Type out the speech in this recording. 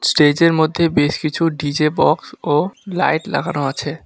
স্টেজের মধ্যে বেশ কিছু ডি_জে বক্স ও লাইট লাগানো আছে।